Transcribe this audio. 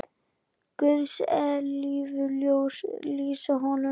Guðs eilífa ljós lýsi honum.